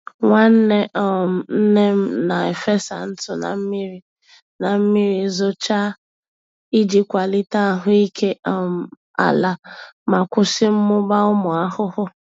Nwanne um nne m na-efesa ntụ na mmiri na mmiri zochaa iji kwalite ahụike um ala ma kwụsị mmụba ụmụ ahụhụ.